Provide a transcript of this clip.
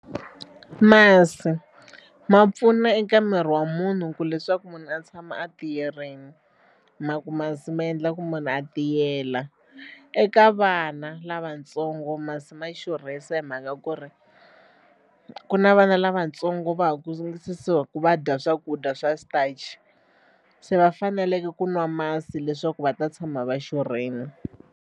Masi ma pfuna eka miri wa munhu ku leswaku munhu a tshama a tiyerini mhaku masi ma endla ku munhu a tiyela. Eka vana lavatsongo masi ma xurhisa hi mhaka ku ri ku na vana lavatsongo va ha ku va dya swakudya swa starch se va faneleke ku nwa masi leswaku va ta tshama va xurhile.